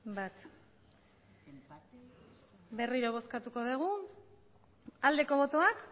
berriro bozkatuko dugu aldeko botoak